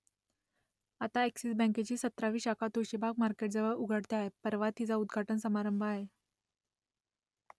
आता अ‍ॅक्सिस बँकेची सतरावी शाखा तुळशीबाग मार्केटजवळ उघडते आहे , परवा तिचा उद्घाटन समारंभ आहे